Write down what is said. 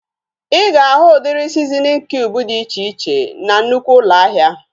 Ịga ahu udiri sizinin kiub dị iche iche na nnụkwụ ụlọ ahịa